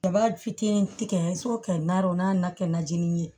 Kaba fitinin tigɛ fo kɛ nanɔron o n'a na kɛ najinin ye